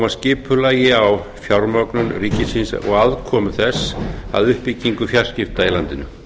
skipulagi á fjármögnun ríkisins og aðkomu þess að uppbyggingu fjarskipta í landinu